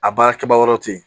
A baarakɛbaga wɛrɛw tɛ yen